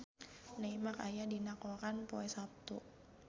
Neymar aya dina koran poe Saptu